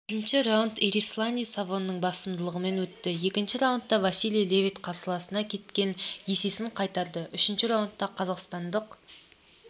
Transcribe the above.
бірінші раундэрисланди савонның басымдығымен өтті екінші раундта василий левит қарсыласына кеткен есесін қайтарды үшінші раундта қазақстандық